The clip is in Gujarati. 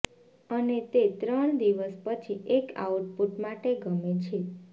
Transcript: અને તે ત્રણ દિવસ પછી એક આઉટપુટ માટે ગમે છે